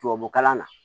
Tubabukalan na